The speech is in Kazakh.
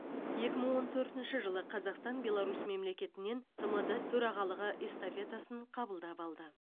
екі мың он төртінші жылы қазақстан беларусь мемлекетінен тмд төрағалығы эстафетасын қабылдап алды